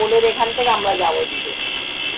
pole এর এখন থেকে আমরা যাবো দুজন।